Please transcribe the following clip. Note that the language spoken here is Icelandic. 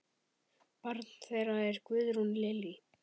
Barn þeirra er Guðrún Lillý.